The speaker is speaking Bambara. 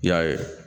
I y'a ye